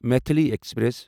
Maithili express